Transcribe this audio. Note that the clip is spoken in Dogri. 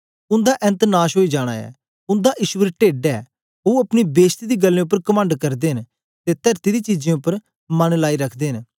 उन्दा ऐन्त नाश ओई जाना ऐ उन्दा ईश्वर टेड्ड ऐ ओ अपनी बेश्ती दी गल्लें उपर कमंड करदे न ते तरती दी चीजें उपर मन लाइ रखदे न